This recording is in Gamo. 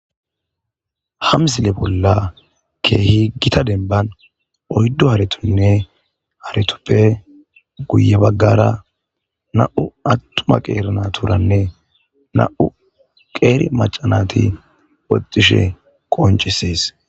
ha msile bolla keehi gita denban oyddu haretonne haretuppe guye baggara na7u attuma qeeri naturanne na7u qeeri macanati oxishe qoncisees